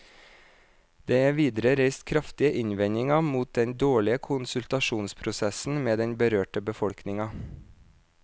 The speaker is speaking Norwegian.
Det er videre reist kraftige innvendinger mot den dårlige konsultasjonsprosessen med den berørte befolkningen.